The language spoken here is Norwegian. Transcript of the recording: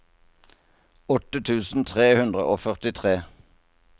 åtte tusen tre hundre og førtitre